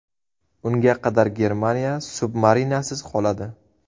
Unga qadar Germaniya submarinasiz qoladi.